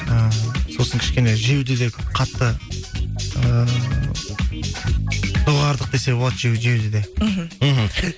ііі сосын кішкене жеуді де қатты ыыы доғардық десе болады жеуді де мхм мхм